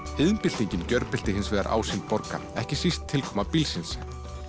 iðnbyltingin gjörbylti hins vegar ásýnd borga ekki síst tilkoma bílsins